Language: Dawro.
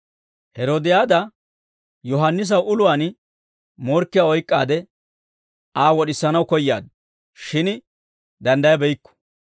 Heroodiyaada Yohaannisaw uluwaan morkkiyaa oyk'k'aade Aa wod'isanaw koyaaddu; shin danddayabeykku.